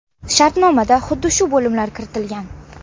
Shartnomada xuddi shu bo‘limlar kiritilgan.